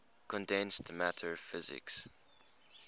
condensed matter physics